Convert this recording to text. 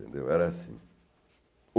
entendeu? Era assim.